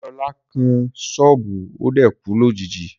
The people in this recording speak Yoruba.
Deola kan ṣubu, o dẹ̀ kú lójijì.